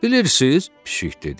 Bilirsiz?